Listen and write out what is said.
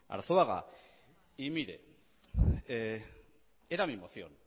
arzuaga y mire era mi moción